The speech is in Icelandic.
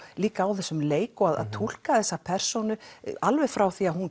líka á þessum leik og að túlka þessa persónu alveg frá því að hún